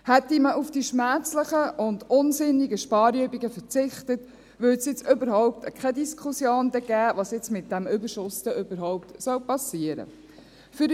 Hätte man auf die schmerzlichen und unsinnigen Sparübungen verzichtet, gäbe es jetzt überhaupt keine Diskussion darüber, was denn mit diesem Überschuss überhaupt passieren soll.